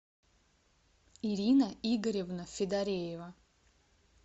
ирина игоревна федореева